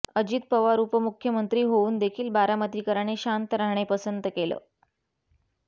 अजित पवार उपमुख्यमंत्री होऊन देखील बारामतीकरांनी शांत राहणे पसंत केलं